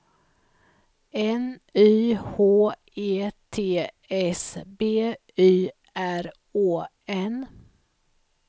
N Y H E T S B Y R Å N